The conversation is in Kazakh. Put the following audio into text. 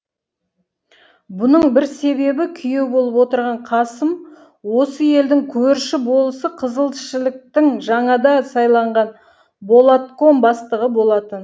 бұның бір себебі күйеу болып отырған қасым осы елдің көрші болысы қызылшіліктің жаңада сайланған болатком бастығы болатын